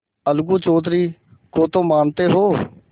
अलगू चौधरी को तो मानते हो